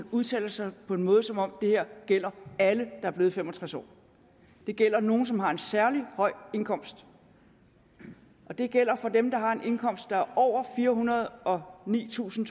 udtaler sig på en måde som om det her gælder alle der er blevet fem og tres år det gælder nogle som har en særlig høj indkomst og det gælder for dem der har en indkomst der er over firehundrede og nitusind